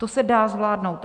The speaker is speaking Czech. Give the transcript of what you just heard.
To se dá zvládnout.